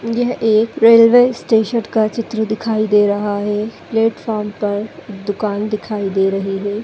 यह एक railway station का चित्र दिखाई दे रहा है प्लेटफार्म पर दुकान दिखाई दे रही है।